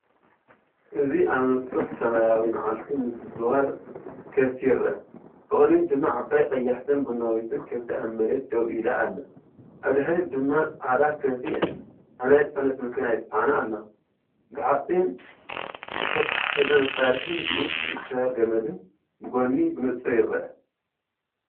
እዚ ኣብ ንጹር ሰማያዊ መዓልቲ ምዝዋር ከብቲ ይርአ። ብቕድሚት ድማ ዓባይ፣ ቀያሕትን ቡናዊትን ከብቲ ኣብ መሬት ደው ኢላ ኣላ፤ ኣብ ድሕሪት ድማ ፃዕዳ ከብቲ ኣብ ናይ ጽዕነት መኪና ይጽዓና ኣለዋ። ብሓጺን ዝተታሕዘ መሳርሒን ብኢድ ዝእሰር ገመድን ብጎኒ ብንጹር ይርአ።